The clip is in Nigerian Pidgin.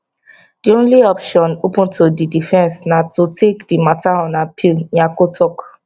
di only option open to di defence na to take di matter on appeal nyako tok